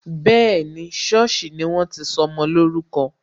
Bẹẹni, sọ́ọ̀sì ni wọ́n ti sọmọ lórúkọ